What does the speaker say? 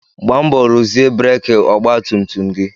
Gbaa mbọ ruzie breki ọgba tum tum gị!